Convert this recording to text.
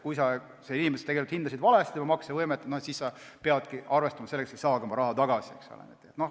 Kui sa hindasid seda inimest või tema maksevõimet valesti, siis sa pead arvestama sellega, et sa ei saagi oma raha tagasi.